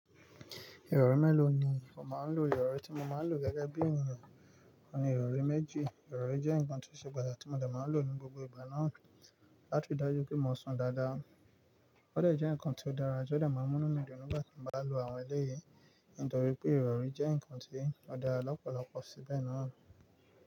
Ìrọ̀rí mélòó ni mo máa ń lò? Ìrọ̀rí tí mo máa ń lò gẹ́gẹ́ bí ènìyàn ni ìrọ̀rí méjì. Ìrọ̀rí jẹ́ nǹkan tí ó ṣe pàtàkì tí mo dẹ̀ máa ń lò ní gbogbo ìgbà náà láti ri dájú pé mo sùn dáadáa. Ó dẹ̀ jẹ́ ǹkan tí ó dára tí ó dẹ̀ máa ń mú mí di ìdùnnú nígbà tí mo bá lọ àwọn eléyìí. Nítorí pé ìrọ̀rí jẹ́ ǹkan tí ó dára lọ́pọ̀lọpọ̀ síbẹ̀ náà.